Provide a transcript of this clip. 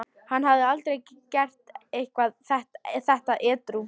Hann hefði aldrei gert þetta edrú.